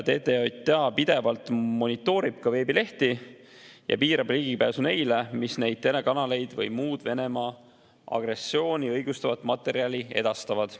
TTJA pidevalt monitoorib ka veebilehti ja piirab ligipääsu neile, mis neid telekanaleid või muud Venemaa agressiooni õigustavat materjali edastavad.